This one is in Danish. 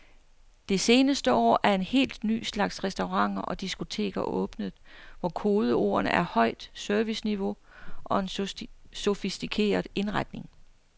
Det seneste år er en helt ny slags restauranter og diskoteker åbnet, hvor kodeordene er højt serviceniveau og en sofistikeret indretning.